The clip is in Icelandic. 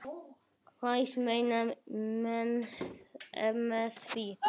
Hvað meina menn með því?